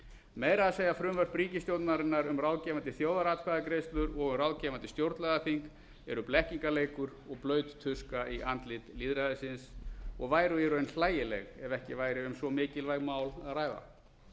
meira að segja frumvörp ríkisstjórnarinnar um ráðgefandi þjóðaratkvæðagreiðslur og um ráðgefandi stjórnlagaþing eru blekkingarleikur og blaut tuska í andlit lýðræðisins og væru í raun hlægileg ef ekki væri um svo mikilvæg mál að ræða